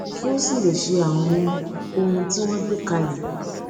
kí ó sì lè ṣe àwọn ohun tí wọn gbé kalẹ